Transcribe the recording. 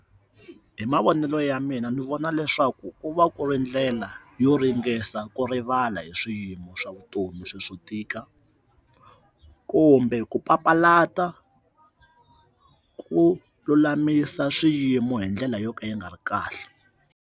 Hi mavonelo ya mina ni vona leswaku u va ku ri ndlela yo ringanisa ku rivala hi swiyimo swa vutomi swo swo tika kumbe ku papalata ku lulamisa swiyimo hi ndlela yo ka yi nga ri kahle.